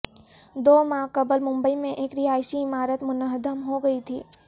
دو ماہ قبل ممبئی میں ایک رہائشی عمارت منہدم ہو گئی تھی